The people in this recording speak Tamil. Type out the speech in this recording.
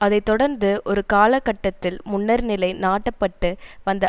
அதை தொடர்ந்து ஒரு காலகட்டத்தில் முன்னர் நிலை நாட்டப்பட்டு வந்த